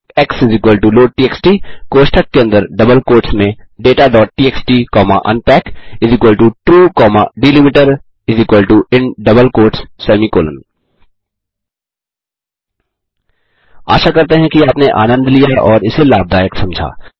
x loadtxt कोष्ठक के अंदर डबल कोट्स में dataटीएक्सटी comma unpackTrue comma delimiterin double quotes semicolon आशा करते हैं कि आपने आनन्द लिया और इसे लाभदयक समझा